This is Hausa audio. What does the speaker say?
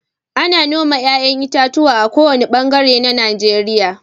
Ana noma 'ya'yan itatuwa a ko wane bangare na Najeriya.